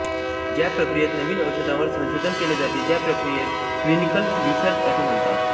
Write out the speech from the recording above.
ज्या प्रक्रियेत नवीन औषधांवर संशोधन केले जाते त्या प्रक्रियेस क्लिनिकल रिसर्च असे म्हणतात